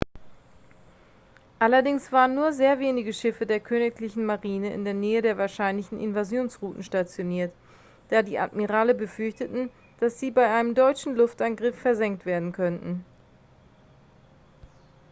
allerdings waren nur sehr wenige schiffe der königlichen marine in der nähe der wahrscheinlichen invasionsrouten stationiert da die admirale befürchteten dass sie bei einem deutschen luftangriff versenkt werden könnten